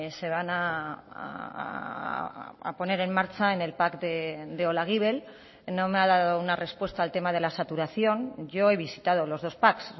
se van a poner en marcha en el pac de olaguibel no me ha dado una respuesta al tema de la saturación yo he visitado los dos pac